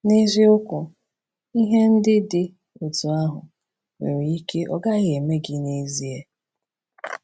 N’eziokwu, ihe ndị dị otú ahụ nwere ike ọ gaghị emee gị n’ezie.